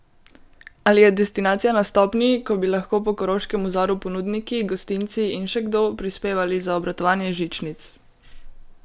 Ali je destinacija na stopnji, ko bi lahko po Koroškem vzoru ponudniki, gostinci in še kdo prispevali za obratovanje žičnic?